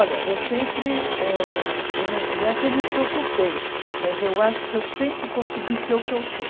Olha, eu sempre âh, eu não, não é que eu me preocupei, mas eu acho que eu sempre consegui ser o que eu sou.